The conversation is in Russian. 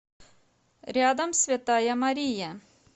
рядом святая мария